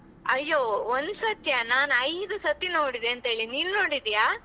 ಅಯ್ಯೊ ಒಂದ್ಸತಿಯಾ ನಾನ್ ಐದು ಸತಿ ನೋಡಿದೆಂತೇಳಿ ನಿನ್ ನೋಡಿದಿಯಾ?